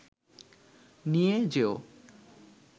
নিয়ে যেও